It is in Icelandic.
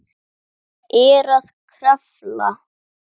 Er að krafla.